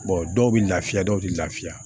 dɔw bɛ lafiya dɔw tɛ lafiya